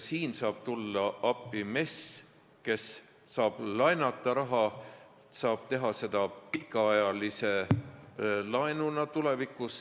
Siin saab tulla appi MES, kes saab laenata raha, saab tulevikus teha seda pikaajalise laenuna.